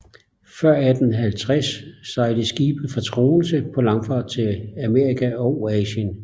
Før 1850 sejlede skibe fra Troense på langfart til Amerika og Asien